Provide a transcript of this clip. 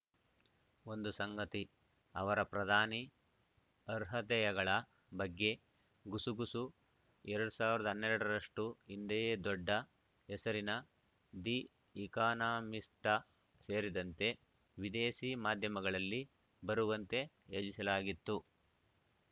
ಒಂದು ಸಂಗತಿ ಅವರ ಪ್ರಧಾನಿ ಅರ್ಹತೆಯಗಳ ಬಗ್ಗೆ ಗುಸುಗುಸು ಎರಡ್ ಸಾವಿರದ ಹನ್ನೆರಡ ರಷ್ಟುಹಿಂದೆಯೇ ದೊಡ್ಡ ಹೆಸರಿನ ದಿ ಇಕಾನಾಮಿಸ್ಟ್‌ ಸೇರಿದಂತೆ ವಿದೇಶಿ ಮಾಧ್ಯಮಗಳಲ್ಲಿ ಬರುವಂತೆ ಯೋಜಿಸಲಾಗಿತ್ತು